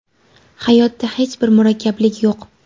Hayotda hech bir murakkablik yo‘q.